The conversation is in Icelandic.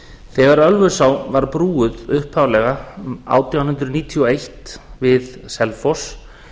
þegar ölfusá var brúuð upphaflega átján hundruð níutíu og eitt við selfoss